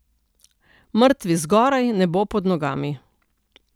Mrtvi zgoraj, nebo pod nogami.